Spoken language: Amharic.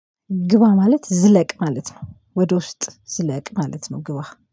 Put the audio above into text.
ግባ ማለት ዝለቅ ማለት ነው። ወደ ውስጥ ዝለቅ ማለት ነው ግባ